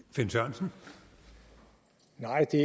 som